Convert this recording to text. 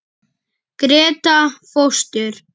Gréta fóstur.